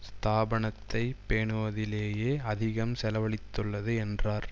ஸ்தாபனத்தை பேணுவதிலேயே அதிகம் செலவழித்துள்ளது என்றார்